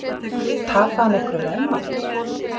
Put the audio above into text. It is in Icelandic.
Tapaði hann einhverju veðmáli?